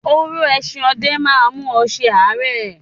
“oró eesin ọdẹ ” má a mú ẹ se ààrẹ.